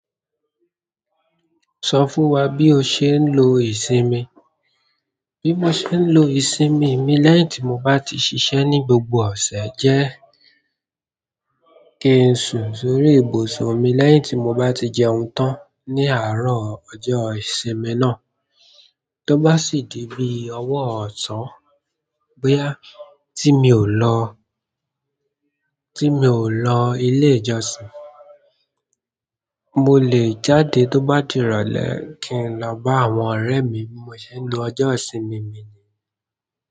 Sọ fún wa bí o ṣe ń lo ìsinmi. Bí mo ṣe ń lo ìsinmi mi lẹ́yìn tí mo bá ti ṣiṣẹ́ ní gbogbo ọ̀sẹ̀ jẹ́ kí n sùn sórí ibùsùn mi lẹ́yìn tí mo bá ti jẹun tán ní àárọ̀ ọjọ́ ìsinmi náà. Tó bá sì di bí ọwọ́ ọ̀sán bóyá tí mi ò lọ, tí mi ò lọ ilé ìjọsìn, mo lè jáde tó bá di ìrọ̀lẹ́ kí n lọ bá àwọn ọ̀rẹ́ mi. Bí mo ṣe ń lo ọjọ́ ìsinmi mi ni.